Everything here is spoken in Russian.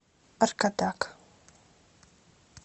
аркадак